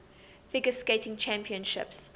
figure skating championships